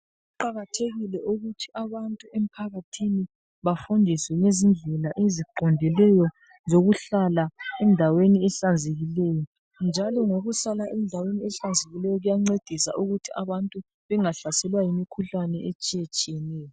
Kuqakathekile ukuthi abantu emphakathini bafundiswe ngezindlela eziqondileyo zokuhlala endaweni ehlanzekileyo njalo ngokuhlala endaweni ehlanzekileyo kuyancedisa ukuthi abantu bengahlaselwa yimikhuhlane etshiyatshiyeneyo.